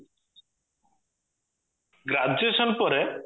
graduation ପରେ